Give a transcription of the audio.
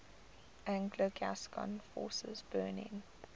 anglo gascon forces burning